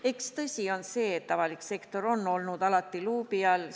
Eks tõsi on see, et avalik sektor on olnud alati luubi all.